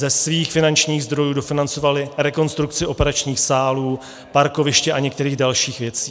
Ze svých finančních zdrojů dofinancovali rekonstrukci operačních sálů, parkoviště a některých dalších věcí.